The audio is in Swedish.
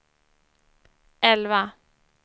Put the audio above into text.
elva